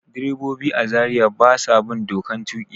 Direbobi a Zariya ba sa bin dokan tuƙi.